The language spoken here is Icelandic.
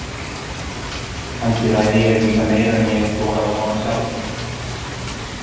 Kannski ræð ég líka meiru en ég hef þorað að vona sjálfur.